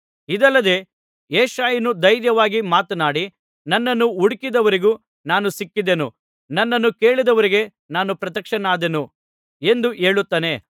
ಇದಲ್ಲದೆ ಯೆಶಾಯನು ಧೈರ್ಯವಾಗಿ ಮಾತನಾಡಿ ನನ್ನನ್ನು ಹುಡುಕದವರಿಗೂ ನಾನು ಸಿಕ್ಕಿದೆನು ನನ್ನನ್ನು ಕೇಳದವರಿಗೆ ನಾನು ಪ್ರತ್ಯಕ್ಷನಾದೆನು ಎಂದು ಹೇಳುತ್ತಾನೆ